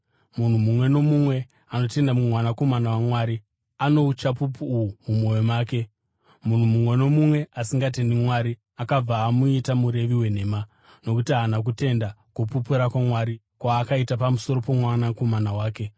Munhu mumwe nomumwe anotenda muMwanakomana waMwari ano uchapupu uhu mumwoyo make. Munhu mumwe nomumwe asingatendi Mwari, akabva amuita murevi wenhema, nokuti haana kutenda kupupura kwaMwari kwaakaita pamusoro poMwanakomana wake.